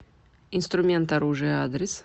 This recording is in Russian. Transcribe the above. инструмент оружие адрес